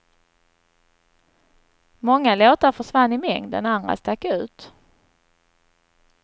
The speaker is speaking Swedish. Många låtar försvann i mängden, andra stack ut.